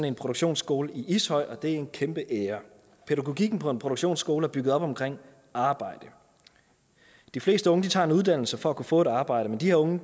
en produktionsskole i ishøj og det er en kæmpe ære pædagogikken på en produktionsskole er bygget op omkring arbejdet de fleste unge tager en uddannelse for at kunne få et arbejde men de her unge